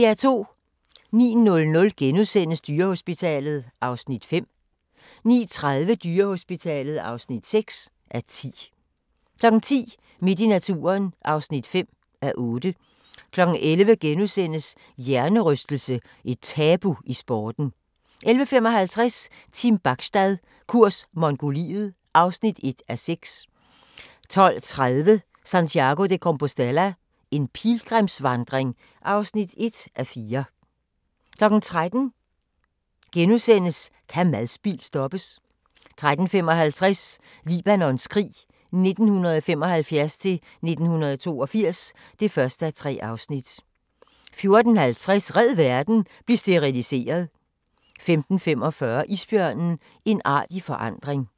09:00: Dyrehospitalet (5:10)* 09:30: Dyrehospitalet (6:10) 10:00: Midt i naturen (5:8) 11:00: Hjernerystelse – et tabu i sporten * 11:55: Team Bachstad – kurs Mongoliet (1:6) 12:30: Santiago de Compostela – en pilgrimsvandring (1:4) 13:00: Kan madspild stoppes? * 13:55: Libanons krig 1975-1982 (1:3) 14:50: Red verden – bliv steriliseret! 15:45: Isbjørnen – en art i forandring